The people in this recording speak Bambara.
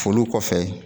Foli kɔfɛ